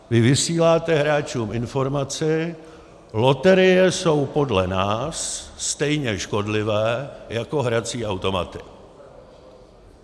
Vy vysíláte hráčům informaci - loterie jsou podle nás stejně škodlivé jako hrací automaty.